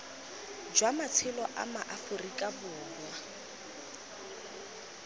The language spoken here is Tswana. jwa matshelo a maaforika borwa